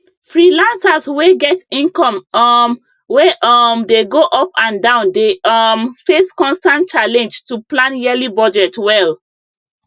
freelancers wey get income um wey um dey go up and down dey um face constant challenge to plan yearly budget well